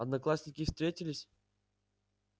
одноклассники встретились